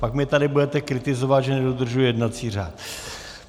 Pak mě tady budete kritizovat, že nedodržuji jednací řád.